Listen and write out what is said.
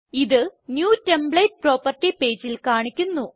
ഇത് new template property പേജിൽ കാണിക്കുന്നു